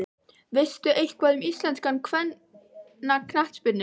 Veistu eitthvað um íslenska kvennaknattspyrnu?